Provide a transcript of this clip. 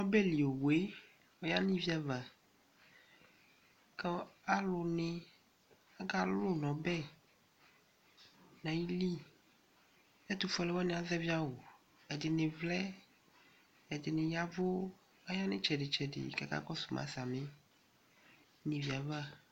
ɔbɛli owu ɔyanuɩviav ku alʊni akalʊ nɔbɛ nailɩ ɛtʊfɛle niya azɛvɩ awu ɛdini vlɛ ɛdiniyav ayanu itsɛdi kakakɔu suma sami